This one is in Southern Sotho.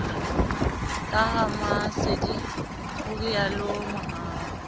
ka ramasedi ho rialo mohau